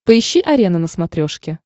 поищи арена на смотрешке